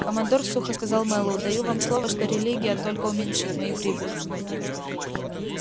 командор сухо сказал мэллоу даю вам слово что религия только уменьшит мои прибыли